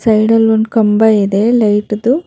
ಸೈಡಲ್ ಒಂದ್ ಕಂಬ ಇದೆ ಲೈಟ್ದು.